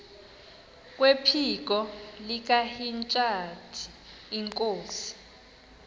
kwephiko likahintsathi inkosi